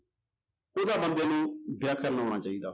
ਉਹਦਾ ਬੰਦੇ ਨੂੰ ਵਿਆਕਰਨ ਆਉਣਾ ਚਾਹੀਦਾ।